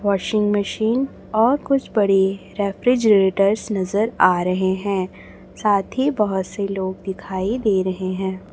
Washing machine और कुछ बड़े रेफ्रिजरेटरस नजर आ रहे हैं साथ ही बहुत से लोग दिखाई दे रहे हैं।